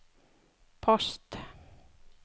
post